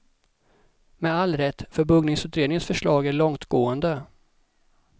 Med all rätt, för buggningsutredningens förslag är långtgående.